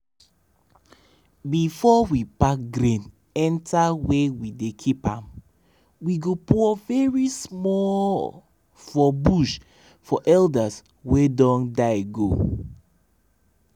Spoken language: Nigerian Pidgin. before we pack grain enter where we dey keep am we go pour very smallllllll for bush for elders wey don die go.